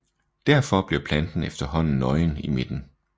Derfor bliver planten efterhånden nøgen i midten